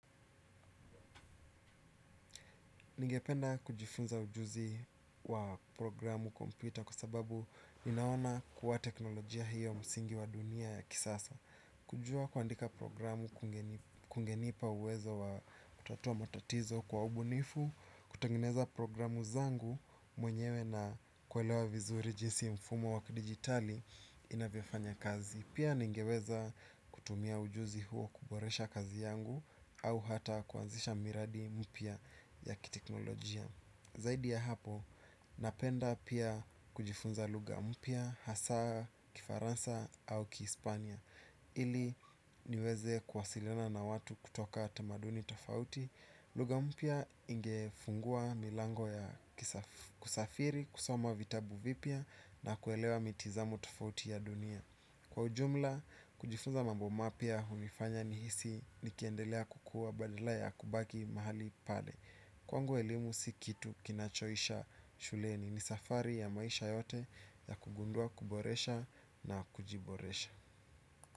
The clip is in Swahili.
Ningependa kujifunza ujuzi wa programu kompyuta kwa sababu inaona kuwa teknolojia hiyo msingi wa dunia ya kisasa. Kujua kuandika programu kungenipa uwezo wa kutatua matatizo kwa ubunifu, kutengeneza programu zangu mwenyewe na kuelewa vizuri jinsi mfumo wa kidigitali inavyofanya kazi. Pia ningeweza kutumia ujuzi huo kuboresha kazi yangu au hata kuanzisha miradi mipya ya kiteknolojia. Zaidi ya hapo, napenda pia kujifunza lugha mpya, hasa, kifaransa au kihispania ili niweze kuwasiliana na watu kutoka tamaduni tofauti. Lugha mpya ingefungua milango ya kusafiri, kusoma vitabu vipya na kuelewa mitizamo tofauti ya dunia. Kwa ujumla, kujifunza mambo mapya hubifanya nihisi nikiendelea kukua badala ya kubaki mahali pale. Kwangu elimu si kitu kinachoisha shuleni ni safari ya maisha yote ya kugundua kuboresha na kujiboresha.